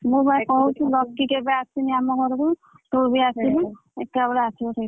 ମୁଁ ବା କହୁଛି ଲକି କେବେ ଆସିନି ଆମ ଘରକୁ ତୁ ବି ଆସିନୁ ଏକାବେଳେ ଆସିବ ।